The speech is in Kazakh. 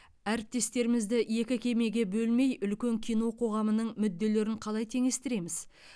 әріптестерімізді екі кемеге бөлмей үлкен кино қоғамының мүдделерін қалай теңестіреміз